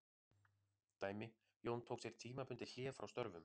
Dæmi: Jón tók sér tímabundið hlé frá störfum.